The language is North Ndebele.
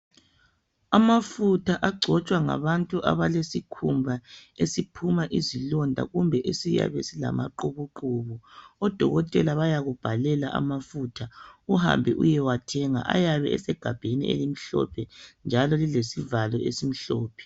Amafutha agcotshwa ngabantu abalesikhumba esiphuma izilonda kumbe esiyabe silamaqhubuqhubu odokotela bayakubhalela amafutha uhambe uyewathenga. Ayabe esegabheni elimhlophe njalo lilesivalo esimhlophe.